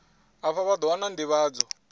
afha vha ḓo wana nḓivhadzo